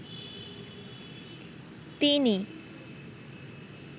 তিনি